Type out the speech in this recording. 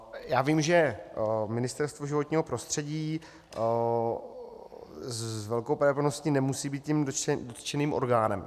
Já vím, že Ministerstvo životního prostředí s velkou pravděpodobností nemusí být tím dotčeným orgánem.